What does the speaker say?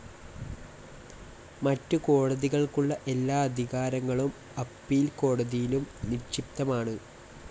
മറ്റ് കോടതികൾക്കുള്ള എല്ലാ അധികാരങ്ങളും അപ്പീൽ കോടതിയിലും നിക്ഷിപ്തമാണ്.